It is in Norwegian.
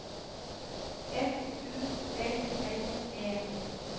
F U L L E